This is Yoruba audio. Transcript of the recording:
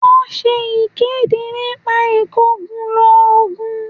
Wọ́n ṣe ìkéde nípa ìkòkulò ògùn